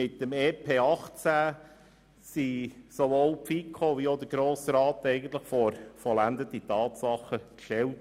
Mit dem EP 2018 wurden sowohl die FiKo als auch der Grosse Rat eigentlich vor vollendete Tatsachen gestellt.